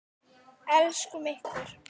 Elskum ykkur.